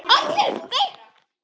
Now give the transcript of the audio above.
Við enduðum í stríði.